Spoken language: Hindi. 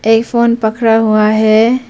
एक फोन पकड़ा हुआ है।